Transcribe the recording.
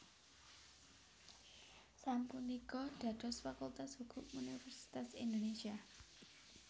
sapunika dados Fakultas Hukum Universitas Indonésia